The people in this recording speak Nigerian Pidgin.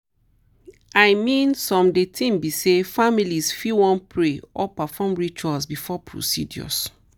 i mean some de tin be say families fit wan pray or perform rituals before procedures.